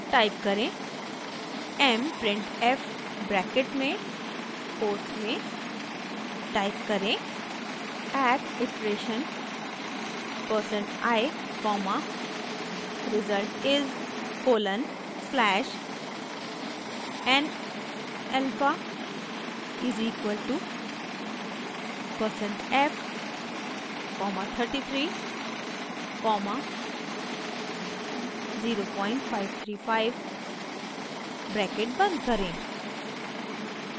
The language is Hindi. टाइप करें> mprintf ब्रैकेट में कोट्स में टाइप करें at iteration percent i comma result is colon slash n alpha is equal to percent f comma 33 comma 0535 bracket बंद करें